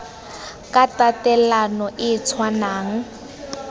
ka tatelano e e tshwanang